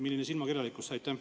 Milline silmakirjalikkus!